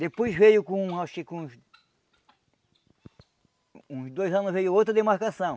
Depois veio com acho que com uns... uns dois anos veio outra demarcação.